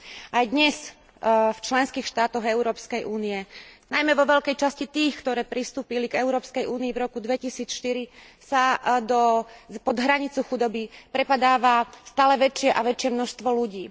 Aj dnes v členských štátoch Európskej únie, najmä vo veľkej časti tých, ktoré pristúpili k Európskej únii v roku 2004, sa pod hranicu chudoby prepadáva stále väčšie a väčšie množstvo ľudí.